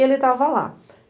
E ele estava lá.